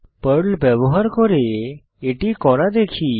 Perl ব্যবহার করে এটি করা দেখি